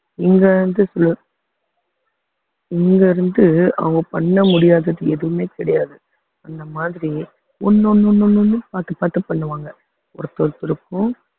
இங்க வந்து இங்க இருந்து அவங்க பண்ண முடியாதது எதுவுமே கிடையாது அந்த மாதிரி ஒண்ணு ஒண்ணு ஒண்ணு ஒண்ணு பார்த்து பார்த்து பண்ணுவாங்க ஒருத்தரு ஒருத்தருக்கும்